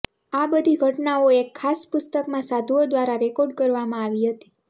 આ બધી ઘટનાઓ એક ખાસ પુસ્તકમાં સાધુઓ દ્વારા રેકોર્ડ કરવામાં આવી હતી